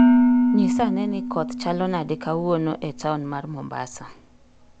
Nyisa ane ni koth chalo nade kawuono e taon mar mombasa